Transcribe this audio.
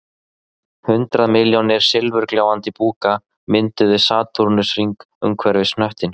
Hundrað milljónir silfurgljáandi búka mynduðu satúrnusarhring umhverfis hnöttinn